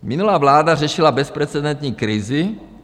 Minulá vláda řešila bezprecedentní krizi.